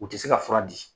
U tɛ se ka fura di